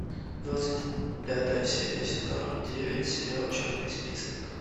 двадцать пятая серия сезон девять сериал черный список